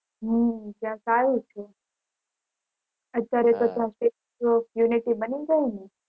હમ ત્યાં સારું છે અત્યારે તો ત્યાં statue of unity બની ગયું ને